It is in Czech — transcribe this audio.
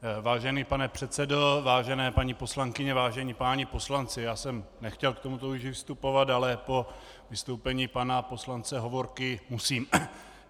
Vážený pane předsedo, vážené paní poslankyně, vážení páni poslanci, já jsem nechtěl k tomuto už vystupovat, ale po vystoupení pana poslance Hovorky musím.